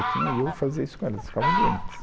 Eu tinha e eu fazia isso com elas, elas ficavam doentes.